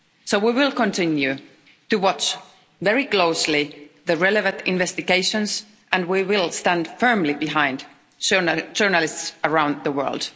We will continue to watch very closely the relevant investigations and we will stand firmly behind journalists around the world.